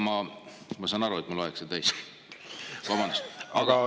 Ma saan aru, et mul aeg sai täis, vabandust, aga …